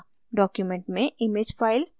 document में image file प्रविष्ट करना